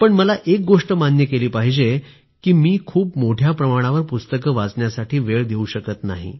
पण मला एक गोष्ट मान्य केली पाहिजे की मी खूप मोठ्या प्रमाणावर पुस्तक वाचण्यासाठी वेळ देऊ शकत नाही